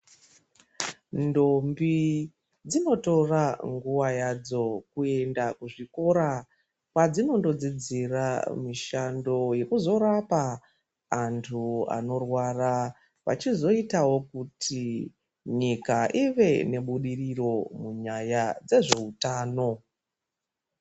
Ntombi dzinotora nguwa yadzo kuenda kuchikora kwadzinondodzidzira mushando wekuzorapa anthu anorwara vachizoitawo kuti nyika ive nebudiriro munyaya dzezveutano.